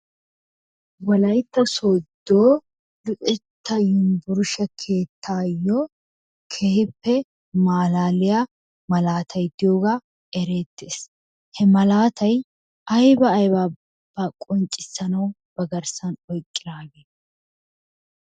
Wolayitta sooddo luxetta yuunbburshshe keettaayoo keehippe maalaaliya malaatay diyoogaa ereettes. He malaatay ayba aybabaa qonccissanawu ba garssan oyqqidaagee?